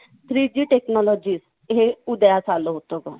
three G technology हे उदयास आलं होतं गं.